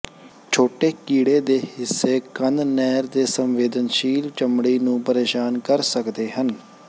ਛੋਟੇ ਕੀੜੇ ਦੇ ਹਿੱਸੇ ਕੰਨ ਨਹਿਰ ਦੇ ਸੰਵੇਦਨਸ਼ੀਲ ਚਮੜੀ ਨੂੰ ਪਰੇਸ਼ਾਨ ਕਰ ਸਕਦੇ ਹਨ